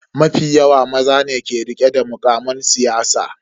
Mafi yawa maza ne ke rike da mukaman siyasa.